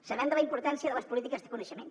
sabem de la importància de les polítiques de coneixement